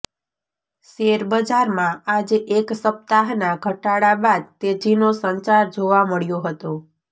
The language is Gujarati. શેરબજારમાં આજે એક સપ્તાહના ઘટાડા બાદ તેજીનો સંચાર જોવા મળ્યો હતો